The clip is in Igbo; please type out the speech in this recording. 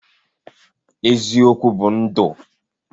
eziokwu bu ndu